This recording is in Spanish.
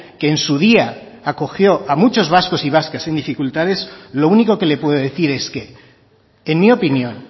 que en su día acogió a muchos vascos y vascas en dificultades lo único que le puedo decir es que en mi opinión